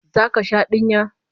Zaka sha dinya?